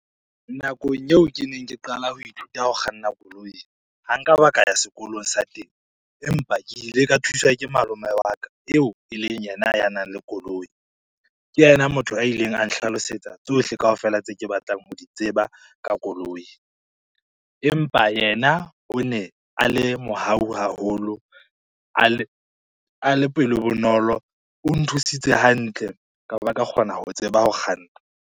Nakong eo ke neng ke qala ho ithuta ho kganna koloi, ha nka ba ka ya sekolong sa teng, empa ke ile ka thuswa ke malome wa ka eo e leng yena ya nang le koloi. Ke yena motho a ileng a nhlalosetsa tsohle kaofela tse ke batlang ho di tseba ka koloi. Empa yena o ne a le mohau haholo, a le pelo bonolo, o nthusitse hantle ka ba ka kgona ho tseba ho kganna.